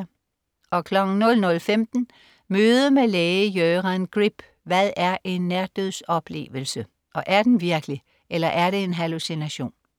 00.15 Møde med læge Göran Grip. Hvad er en nærdødsoplevelse? Og er den virkelig eller er det en hallucination?